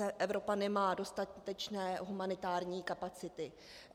Evropa nemá dostatečné humanitární kapacity.